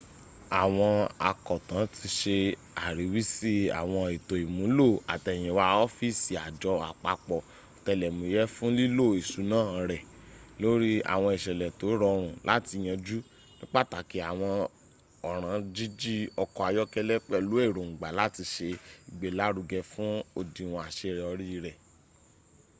àwọn akọ̀tàn ti se àríwísí àwọn ètò ìmúlò àtẹ̀yìnwá ọ́fíìsì àjọ àpapọ̀ òtẹlẹ̀múyé fún lílo ìsúná rè lòrì àwọn ìsẹ̀lẹ̀ tó rọrùn láti yanjú ní pàtàkì àwọn ọ̀ràn jíjí ọkọ̀ áyọkẹ́lẹ́ pẹ̀lú èróngbá láti se ìgbélárugẹ fún ódiwọ̀n àsẹyọrì rẹ